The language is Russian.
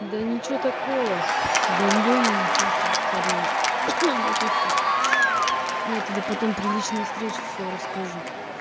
да ничего такого гандон просто царевна вот и все я тебе потом при личной встрече все расскажу